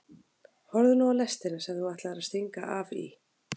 Horfðu nú á lestina sem þú ætlaðir að stinga af í.